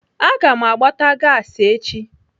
Aga m agbata gasi echi.